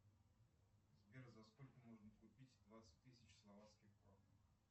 сбер за сколько можно купить двадцать тысяч словацких крон